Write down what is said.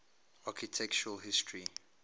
architectural history